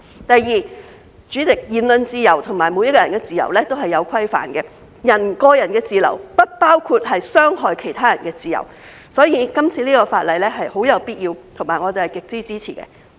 第二，主席，言論自由和每個人的自由都是有規範的，個人的自由不包括傷害其他人的自由，所以，這次修例是很有必要，而我們是極為支持的。